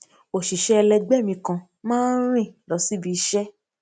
òṣìṣé ẹlẹgbé mi kan máa ń rìn lọ síbi iṣé